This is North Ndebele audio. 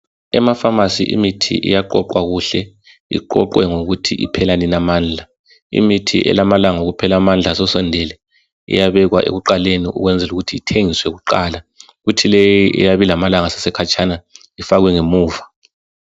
Emapharmacy imithi iyaqoqwa kuhle. Iqoqwe ngokuthi iphela nini amandla. Imithi elamalanga okuphela amandla asesondele iyabekwa ekuqaleni ukwenzelu kuthi ithengiswe kuqala. Kuthi leyi eyabilamalanga asesekhatshana ifakwe ngemuva.